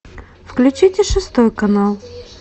включите шестой канал